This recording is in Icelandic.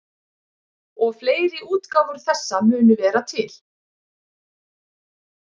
og fleiri útgáfur þessa munu vera til